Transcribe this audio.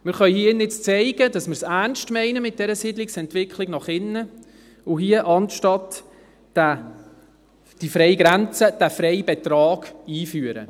Wir können hier drin zeigen, dass wir es mit der Siedlungsentwicklung nach innen ernst meinen und hier, statt der Freigrenze, den Freibetrag einführen.